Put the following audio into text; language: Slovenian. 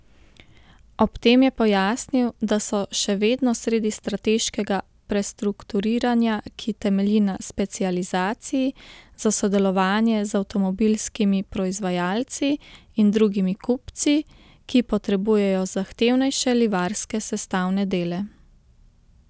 Ob tem je pojasnil, da so še vedno sredi strateškega prestrukturiranja, ki temelji na specializaciji za sodelovanje z avtomobilskimi proizvajalci in drugimi kupci, ki potrebujejo zahtevnejše livarske sestavne dele.